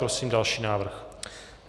Prosím další návrh.